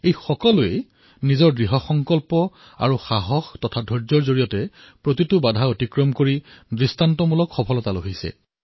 এওঁ সকলোৱে নিজৰ দৃঢ় সংকল্পৰ আৰু উৎসাহৰ জৰিয়তে সকলো বাধা অতিক্ৰমি বিশ্বৰ চকু চমকিত কৰা সাফল্য লাভ কৰিছে